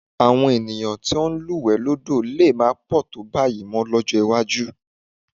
Àwọn ènìyàn tí wọ́n ń lúwẹ̀ẹ́ lódò lè má pọ̀ tó báyìí mọ́ lọ́jọ́ iwájú